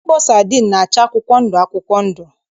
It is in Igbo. Mkpọ sadin na-acha akwụkwọ ndụ akwụkwọ ndụ.